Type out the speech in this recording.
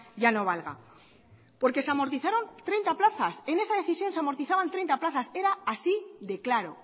ya no valga porque se amortizaron treinta plazas en esa decisión se amortizaban treinta plazas era así de claro